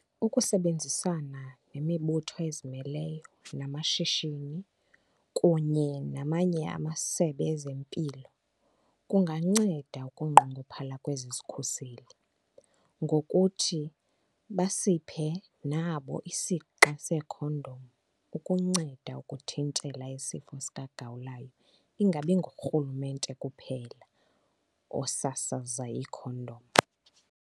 Ukusebenzisana nemibutho ezimeleyo namashishini kunye namanye amaSebe ezeMpilo kunganceda ukunqongophala kwezi zikhuseli ngokuthi basiphe nabo isixa seekhondom ukunceda ukuthintela isifo sikaGawulayo ingabi ngurhulumente kuphela osasaza iikhondom.